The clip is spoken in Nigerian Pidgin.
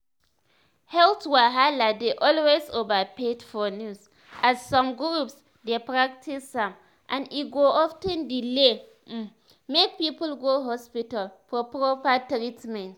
health wahala dey always overhyped for news as some groups dey practice am and e go of ten delay um make people go hospital for proper treatment."